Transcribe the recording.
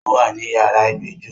Ó wá ní yàrá ìgbẹ́jọ́